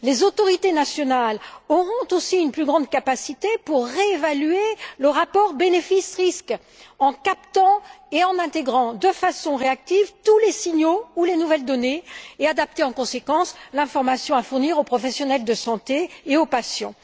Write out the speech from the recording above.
Les autorités nationales auront aussi une plus grande capacité pour réévaluer le rapport bénéfice risque, en captant et en intégrant de façon réactive tous les signaux ou les nouvelles données, et pour adapter en conséquence l'information à fournir aux professionnels de santé et aux patients.